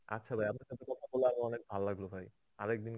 আচ্ছা ভাই অনেক ভালো লাগলো ভাই.